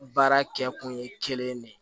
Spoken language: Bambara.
Baara kɛ kun ye kelen de ye